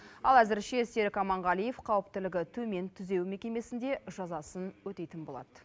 ал әзірше серік аманғалиев қауіптілігі төмен түзеу мекемесінде жазасын өтейтін болады